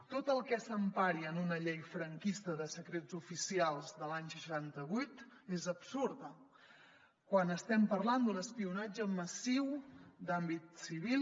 tot el que s’empari en una llei franquista de secrets oficials de l’any seixanta vuit és absurd quan estem parlant d’un espionatge massiu d’àmbit civil